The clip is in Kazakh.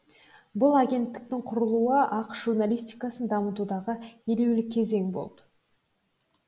бұл агенттіктің құрылуы ақш журналистикасын дамытудағы елеулі кезең болды